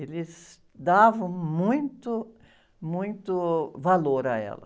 Eles davam muito, muito valor a ela.